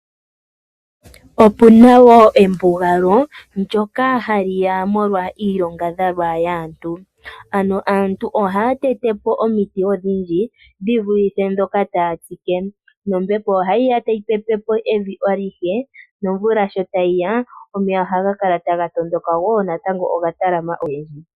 Opuna embugalo ndoka haliya molwa iilonga yaantu, ano aantu ohaya teyepo omiti odhidhi dhivulithepo ndhoka taya tsike po , nombepo ohayiya tayi pepepo evi alihe nomvula shotayiya omeya ohagakala taga tondoka go ogatalama ogendji.